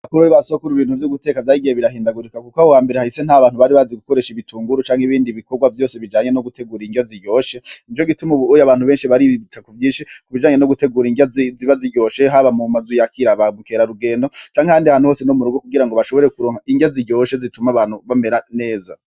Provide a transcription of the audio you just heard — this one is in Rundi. Bakuru ba sokura ibintu vy'uguteka vyagiye birahindagurika, kuko ahambere hahise nta bantu bari bazi gukoresha ibitunguru canke ibindi bikorwa vyose bijanye no gutegura inrya ziryoshe nico gituma ubunye abantu benshi bari bita ku vyinshi kubijanye no gutegura inrya ziba ziryoshe haba mu mazu yaba kirarugendo canke handi hanu hose no mu rugo kugira ngo bashobore kuronka inrya ziryoshe zituma abantu bamera neza.